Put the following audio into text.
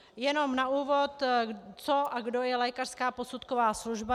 Jenom na úvod, co a kdo je lékařská posudková služba.